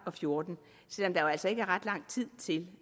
og fjorten selv om der altså ikke er ret lang tid til